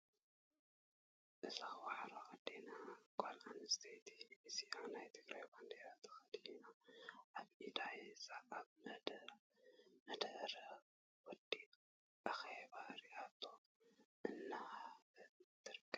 እዛ ዋዕሮ አዴና ጓል ኣነስተይቲ እዚኣ ናይ ትግራይ ባንደራ ተከዲናን ኣብ ኢዳ ሒዛን ኣብ መደረ ወይ አኬባ ሪኢቶኣ እንዳሃበት ትርከብ።